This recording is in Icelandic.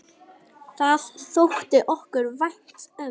Það þótti okkur vænt um.